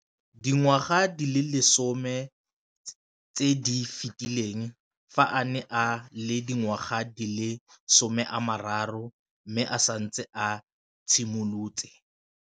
Dingwaga di le 10 tse di fetileng, fa a ne a le dingwaga di le 23 mme a setse a itshimoletse